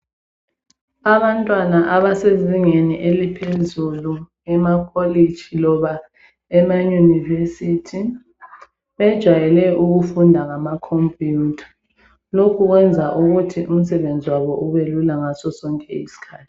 Abantwana abasezingeni eliphezulu emakolitshi loba ema university bejwayele ukufunda ngamacomputer lokhu kwenza ukuthi umsebenzi wabo ubelula ngaso sonke isikhathi.